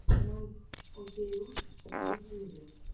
пранк окейуш в ютюбе